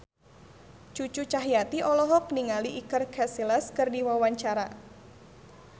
Cucu Cahyati olohok ningali Iker Casillas keur diwawancara